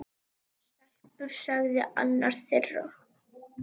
Stelpur sagði annar þeirra.